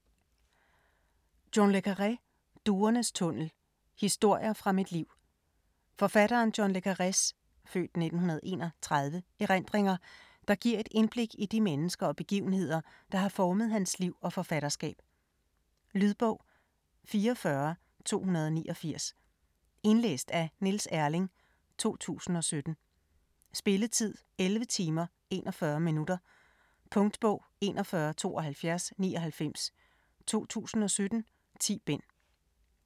Le Carré, John: Duernes tunnel: historier fra mit liv Forfatteren John le Carrés (f. 1931) erindringer, der giver et indblik i de mennesker og begivenheder, der har formet hans liv og forfatterskab. Lydbog 44289 Indlæst af Niels Erling, 2017. Spilletid: 11 timer, 41 minutter. Punktbog 417299 2017. 10 bind.